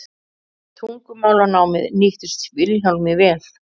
tungumálanámið nýttist vilhjálmi vel